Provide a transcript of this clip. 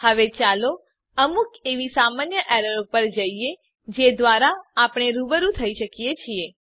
હવે ચાલો અમુક એવી સામાન્ય એરરો પર જઈએ જે દ્વારા આપણે રૂબરૂ થઇ શકીએ છીએ